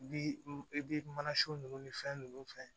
Bi i bi mana sun nunnu ni fɛn nunnu fɛn